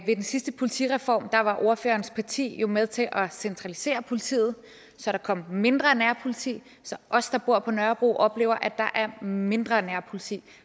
ved den sidste politireform var ordførerens parti jo med til at centralisere politiet så der kom mindre nærpoliti så os der bor på nørrebro oplever at der er mindre nærpoliti